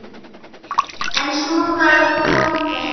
En svo bara kom þetta.